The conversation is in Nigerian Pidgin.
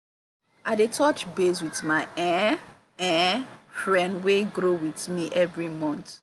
i dey touch base with my um um friend wey grow with me every month.